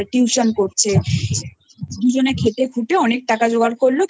তারপর Tuitionকরছে দুজনে খেটে খুটে অনেক টাকা জোগাড়